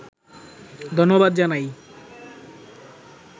ধন্যবাদ জানাই